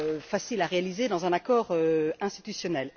facile à réaliser dans un accord institutionnel.